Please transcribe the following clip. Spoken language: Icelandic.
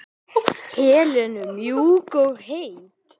Helenu mjúk og heit.